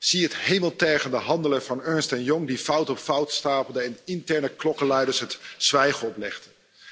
Zie het hemeltergende handelen van Ernst Young, dat fout op fout stapelde en interne klokkenluiders het zwijgen oplegde.